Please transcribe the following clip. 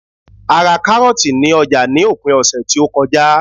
a ra karọọti ni oja ni opin ọsẹ ti o koja